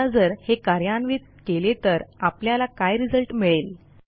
आता जर हे कार्यान्वित केले तर आपल्याला काय रिझल्ट मिळेल